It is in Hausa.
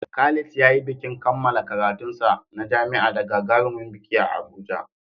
Khalid ya yi bikin kammala karatunsa na jami'a da gagarumin biki a Abuja.